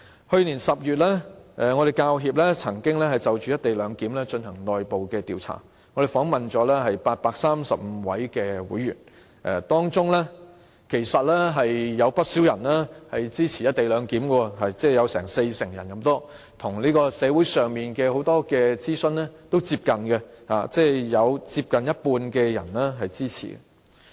去年10月，香港教育專業人員協會曾經就"一地兩檢"進行內部調查，訪問了835位會員，當中有不少人支持"一地兩檢"，即有近四成受訪者表示支持，與社會上很多諮詢的結果接近，即有接近一半人支持。